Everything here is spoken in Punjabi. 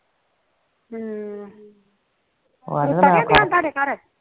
ਹਮ ਹਮ